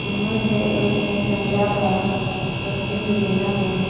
इनमें से एक ने संता का कस्टूम भी पहना है।